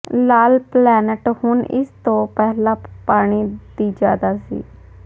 ਲਾਲ planet ਹੁਣ ਇਸ ਤੋਂ ਪਹਿਲਾਂ ਪਾਣੀ ਦੀ ਜਿਆਦਾ ਸੀ